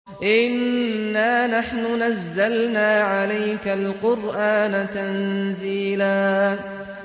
إِنَّا نَحْنُ نَزَّلْنَا عَلَيْكَ الْقُرْآنَ تَنزِيلًا